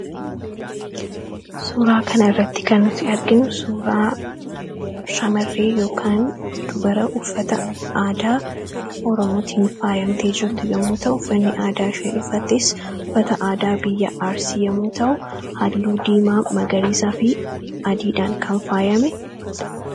suuraa kana irratti kannuti arginu suuraa shamarree yk dubara uffata aadaa oromootin faayamtee jirtu yommuu tauffanni aadaa isheen dhufattes uffata aadaa biyya aarsii yomuu ta'u halluu diimaa magariisaa fi adiidhaan kan faayame